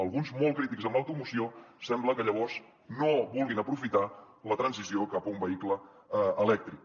alguns molt crítics amb l’automoció sembla que llavors no vulguin aprofitar la transició cap a un vehicle elèctric